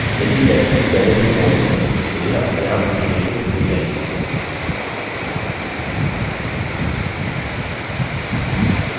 यदि test2 पहले से ही मौजूद है तो यह अपनेआप अधिलेखित हो जायेगी